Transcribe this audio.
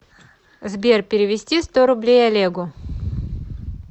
сбер перевести сто рублей олегу